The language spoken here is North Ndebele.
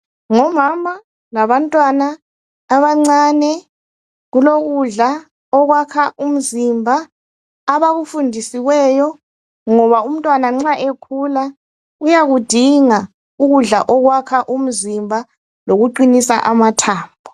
Ngomama labantwana abancane. Kulokudla okwakha umzimba. Abakufundisiweyo. Ngoba umtwana nxa ekhula uyakudinga ukudla okwakha umzimba loku qinisa amathambo.